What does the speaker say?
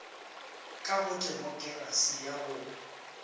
ka go temokerasi ga go